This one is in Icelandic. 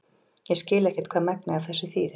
ég skil ekkert hvað megnið af þessu þýðir